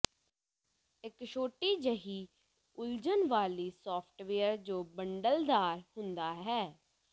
ਇੱਕ ਛੋਟੀ ਜਿਹੀ ਉਲਝਣ ਵਾਲੀ ਸੌਫਟਵੇਅਰ ਜੋ ਬੰਡਲਦਾਰ ਹੁੰਦਾ ਹੈ